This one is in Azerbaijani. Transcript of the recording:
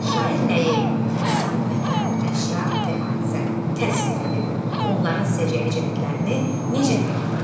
Şair nəyi (insan, məkan, əşya və hadisə) təsvir edib, onların səciyyəvi cəhətlərini necə təqdim edib?